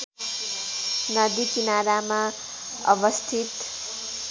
नदी किनारामा अवस्थित